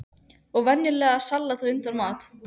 Og venjulegt salat á undan mat.